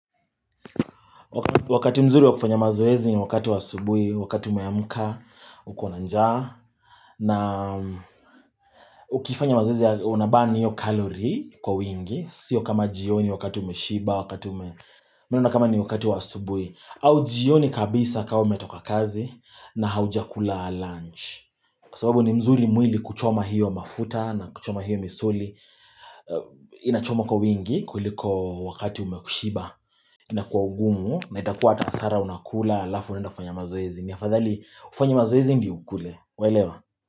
Wakati mzuri wa kufanya mazoezi ni wakati wa asubuhi wakati umeamka uko na njaa na ukifanya mazoezi ya unabani hiyo kalori kwa wingi sio kama jioni wakati umeshiba wakati ume mi naona kama ni wakati wa asubuhi au jioni kabisa kama umetoka kazi na haujakula lunch kawa sababu ni mzuri mwili kuchoma hiyo mafuta na kuchoma hiyo misuli inachoma kwa wingi kulikoo wakati umeshiba na kwa ugumu na itakuwa hata hasara unakula alafu uneaenda fanya mazoezi ni afadhali ufanye mazoezi ndio ukule Waelewa.